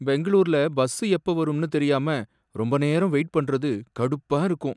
பெங்களூர்ல பஸ்ஸு எப்போ வரும்னு தெரியாம ரொம்ப நேரம் வெயிட் பண்றது கடுப்பா இருக்கும்.